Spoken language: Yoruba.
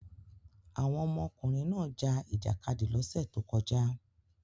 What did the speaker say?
Àwọn ọmọkùnrin náà ja ìjàkadì lọ́sẹ̀ tó kọjá.